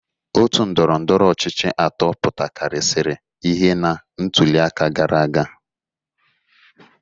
Òtù ndọrọ ndọrọ ọchịchị atọ pụtakarịsịrị ihe na ntụliaka gara aga.